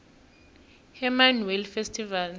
hermanus whale festival